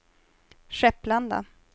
Skepplanda